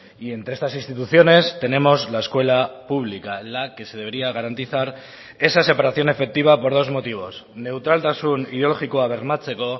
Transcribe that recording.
y entre estas instituciones tenemos la escuela pública en la que se debería garantizar esa separación efectiva por dos motivos neutraltasun ideologikoa bermatzeko